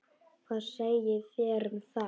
Hvað segið þér um það?